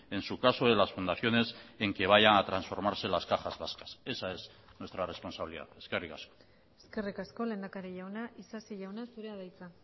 en su caso de las fundaciones en que vayan a transformarse las cajas vascas esa es nuestra responsabilidad eskerrik asko eskerrik asko lehendakari jauna isasi jauna zurea da hitza